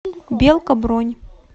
белка бронь